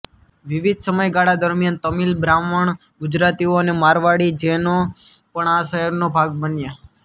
વિવિધ સમયગાળા દરમિયાન તમિલ બ્રાહ્મણ ગુજરાતીઓ અને મારવાડી જૈનો પણ આ શહેરનો ભાગ બન્યા